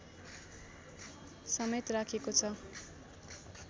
समेत राखेको छ